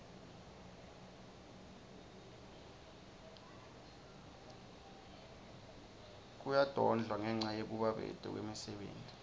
kuyadendwa ngenca yekubabete kwemisebenti